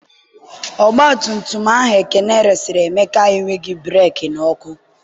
ọgbatumtum ahụ Ekene resịrị Emeka enweghị breekị na ọkụ.